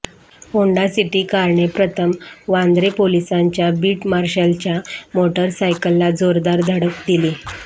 Honda City कारने प्रथम वांद्रे पोलिसांच्या बीट मार्शलच्या मोटरसायकलला जोरदार धडक दिली